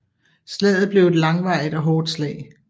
Slaget blev et langvarigt og hårdt slag